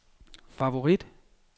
favorit